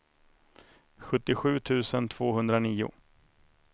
sjuttiosju tusen tvåhundranio